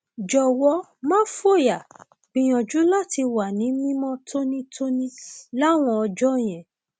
jọwọ má fòyà gbìyànjú láti wà ní mímọ tónítóní láwọn ọjọ yẹn